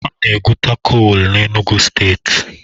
A na-egwuta kolu na Enugu steeti